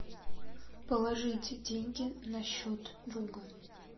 положить деньги на счет друга